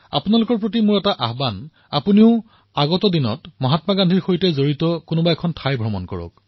আপোনালোকক মই আহ্বান জনাইছো যে আগন্তুক সময়ত মহাত্মা গান্ধীৰ সৈতে জড়িত যিকোনো স্থানলৈ নিশ্চয়কৈ যাত্ৰা কৰক